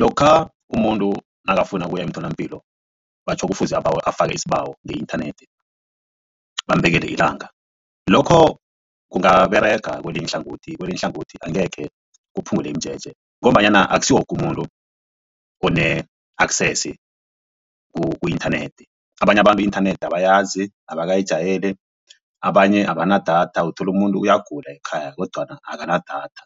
Lokha umuntu nakafuna ukuya emtholampilo batjho kufuze abawe afake isibawo nge-inthanethi bambekele ilanga, lokho kungaberega kwelinye ihlangothi kwelinye ihlangothi angekhe kuphungule imijeje ngombanyana akusiwokumuntu one-access ku-inthanethi. Abanye abantu i-inthanethi abayazi abakayijayeli, abanye abanadatha, uthola umuntu uyagula ekhaya kodwana akanadatha.